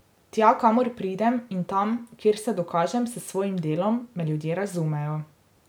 Tja, kamor pridem, in tam, kjer se dokažem s svojim delom, me ljudje razumejo.